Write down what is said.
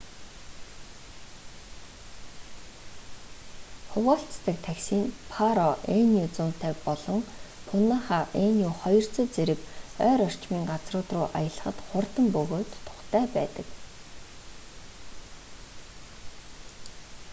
хуваалцдаг такси нь паро nu 150 болон пунаха nu200 зэрэг ойр орчмын газрууд руу аялахад хурдан бөгөөд тухтай байдаг